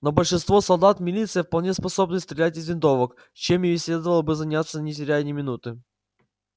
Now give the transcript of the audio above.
но большинство солдат милиции вполне способны стрелять из винтовок чем им и следовало бы заняться не теряя ни минуты